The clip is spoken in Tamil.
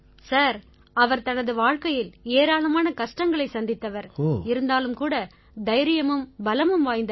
சார் அவர் தனது வாழ்க்கையில் ஏராளமான கஷ்டங்களைச் சந்தித்தவர் இருந்தாலும் கூட தைரியமும் பலமும் வாய்ந்தவர்